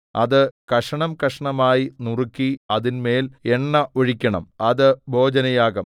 അത് കഷണംകഷണമായി നുറുക്കി അതിന്മേൽ എണ്ണ ഒഴിക്കണം അത് ഭോജനയാഗം